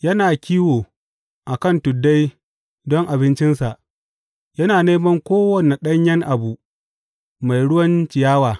Yana kiwo a kan tuddai don abincinsa yana neman kowane ɗanyen abu mai ruwan ciyawa.